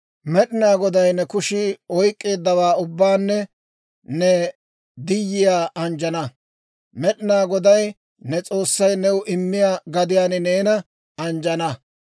«Med'inaa Goday ne kushii oyk'k'eeddawaa ubbaanne ne diyiyaa anjjana; Med'inaa Goday ne S'oossay new I immiyaa gadiyaan neena anjjana.